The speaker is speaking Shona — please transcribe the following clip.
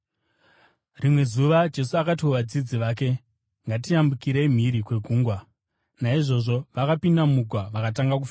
Rimwe zuva Jesu akati kuvadzidzi vake, “Ngatiyambukirei mhiri kwegungwa.” Naizvozvo vakapinda mugwa vakatanga kufamba.